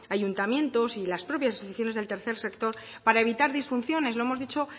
ayuntamientos y las propias instituciones del tercer sector para evitar disfunciones lo hemos dicho